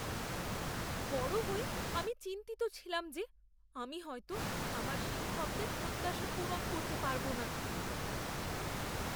বড় হয়ে আমি চিন্তিত ছিলাম যে, আমি হয়তো আমার শিক্ষকদের প্রত্যাশা পূরণ করতে পারব না।